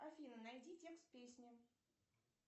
афина найди текст песни